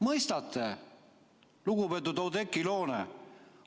Mõistate, lugupeetud Oudekki Loone?